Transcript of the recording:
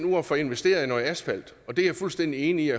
at få investeret i noget asfalt og det er jeg fuldstændig enig